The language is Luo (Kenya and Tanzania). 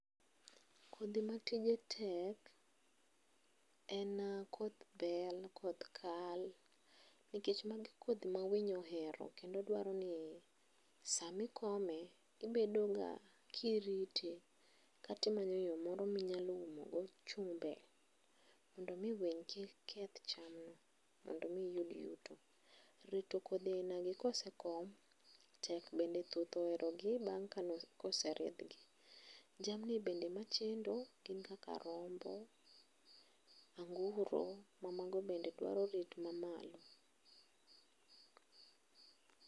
Kodhi matije tek en koth bel, koth kal nikech magi kodhi ma winy ohero nikech sama ikome to ibedo ga ka irite kata imanyo yoo moro minyalo umo go chumbe mondo mii winy kik keth chamno mondo mi iyud yuto. Rito kodhi aina gi kosekom tek bende thuth oherogi koseridhgi. Jamni be machendo gin kaka rombo, anguro mamako bende dwaro rit mamalo